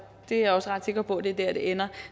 er også ret sikker på at det er der det ender